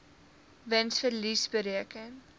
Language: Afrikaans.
wins verlies bereken